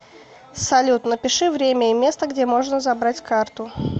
салют напиши время и место где можно забрать карту